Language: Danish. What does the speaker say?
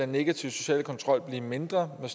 negative sociale kontrol blive mindre med